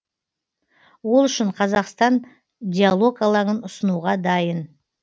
ол үшін қазақстан диалог алаңын ұсынуға дайын